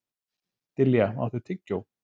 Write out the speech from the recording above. Dilja, áttu tyggjó?